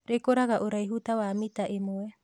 rĩkũraga ũraihu tawa mita ĩmwe.